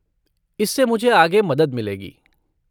इससे मुझे आगे मदद मिलेगी।